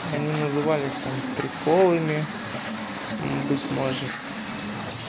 они назывались там приколами быть может